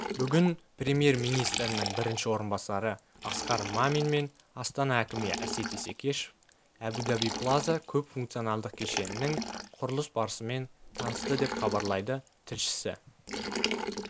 бүгін премьер-министрінің бірінші орынбасары асқар мамин мен астана әкімі әсет исекешев әбу-даби плаза көпфункционалдық кешенінің құрылыс барысымен танысты деп хабарлайды тілшісі